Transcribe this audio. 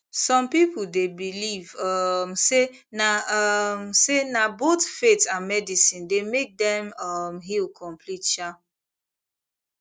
some people dey believe um say na um say na both faith and medicine dey make dem um heal complete um